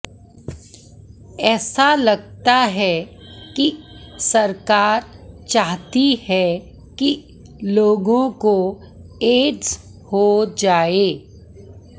ऐसा लगता है कि सरकार चाहती है कि लोगों को एड्स हो जाए